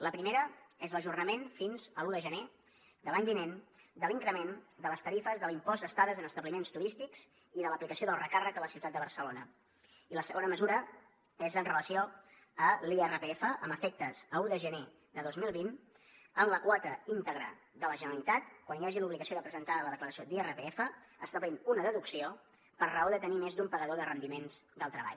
la primera és l’ajornament fins a l’un de gener de l’any vinent de l’increment de les tarifes de l’impost d’estades en establiments turístics i de l’aplicació del recàrrec a la ciutat de barcelona i la segona mesura és amb relació a l’irpf amb efectes d’un de gener de dos mil vint en la quota íntegra de la generalitat quan hi hagi l’obligació de presentar la declaració d’irpf establint una deducció per raó de tenir més d’un pagador de rendiments del treball